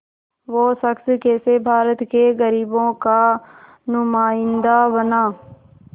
वो शख़्स कैसे भारत के ग़रीबों का नुमाइंदा बना